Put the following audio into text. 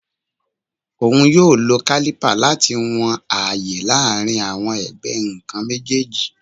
Oun yoo lo caliper lati wọn aaye laarin awọn ẹgbẹ nkan mejeeji